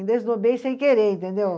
Me desdobrei sem querer, entendeu?